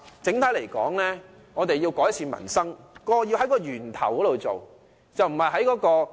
整體來說，我們要改善民生，便應在源頭着手。